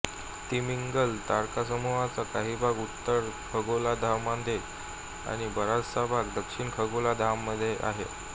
तिमिंगल तारकासमूहाचा काही भाग उत्तर खगोलार्धामध्ये आणि बराचसा भाग दक्षिण खगोलार्धामध्ये आहे